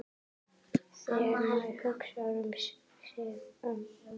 Þegar maður hugsar sig um.